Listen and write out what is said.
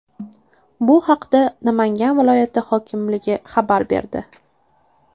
Bu haqda Namangan viloyati hokimligi xabar berdi .